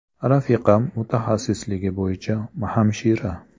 Rafiqam mutaxassisligi bo‘yicha hamshira.